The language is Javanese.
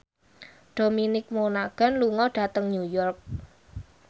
Dominic Monaghan lunga dhateng New York